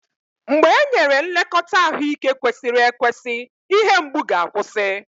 mgbe e nyere nlekọta ahụike kwesịrị ekwesị, ihe mgbu ga-akwụsị.